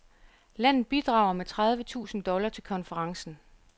Landet bidrager med tredive tusind dollar til konferencen.